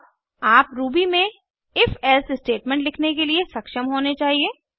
अब आप रूबी में if एल्से स्टेटमेंट लिखने के लिए सक्षम होने चाहिए